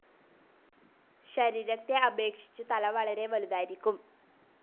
ശരീരത്തെ അപേക്ഷിച്ചു തല വളെരെ വലുതായിരിക്കും.